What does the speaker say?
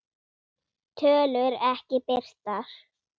Tölur ekki birtar